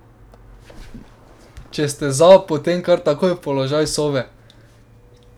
Če ste za, potem kar takoj v položaj sove.